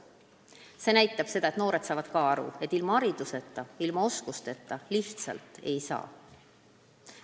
See näitab seda, et ka noored saavad aru, et ilma hariduseta ja oskusteta lihtsalt ei saa.